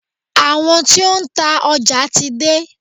Àwọn tí ó ń ta ọjà ti dé.